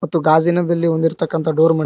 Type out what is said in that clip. ಮತ್ತು ಗಾಜಿನದಲ್ಲಿ ಹೊದಿರತಕಂತ ಡೋರ್ --